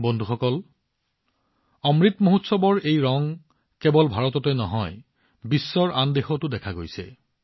বন্ধুসকল অমৃত মহোৎসৱৰ এই ৰংবোৰ কেৱল ভাৰততে নহয় বিশ্বৰ আন দেশতো দেখা গৈছিল